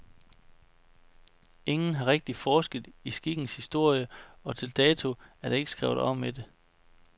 Ingen har rigtigt forsket i skikkens historie og til dato er der ikke skrevet om det.